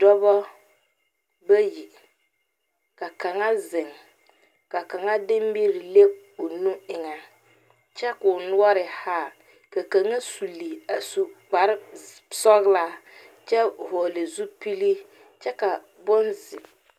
Dɔba bayi ka kaŋa zeŋ ka kaŋa de miri a le o nu eŋɛ , kyɛ kɔɔ noɔre haa ka kaŋa suli a su kpare sɔglaa kyɛ vɔgeli zupili kyɛ ka bonzeɛ